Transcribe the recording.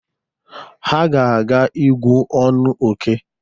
Ha ga-aga ígú ọnụ óké.